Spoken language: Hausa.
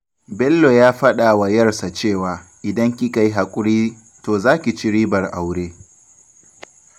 Bello ya faɗa wa 'yarsa cewa, 'idan kika yi haƙuri to za ki ci ribar aure.